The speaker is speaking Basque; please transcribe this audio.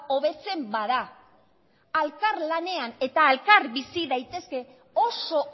hobetzen bada elkarlanean eta elkar bizi daitezke oso